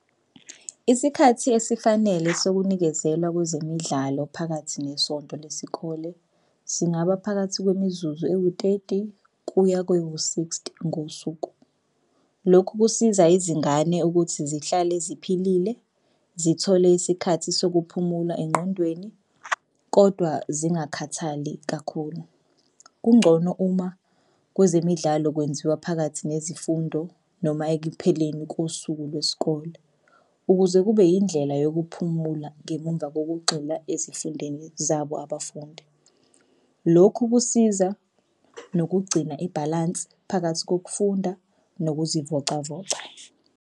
Isikhathi esifanele sokunikezela kwezemidlalo phakathi nesonto lesikole singaba phakathi kwemizuzu ewuteti kuya kwewu-sixty ngosuku. Lokhu kusiza izingane ukuthi zihlale ziphilile zithole isikhathi sokuphumula engqondweni, kodwa zingakhathali kakhulu. Kungcono uma kwezemidlalo kwenziwa phakathi nezifundo noma ekupheleni kosuku lwesikole ukuze kube indlela yokuphumula ngemumva kokugxila ezifundeni zabo abafundi. Lokhu kusiza nokugcina ibhalansi phakathi kokufunda nokuzivocavoca.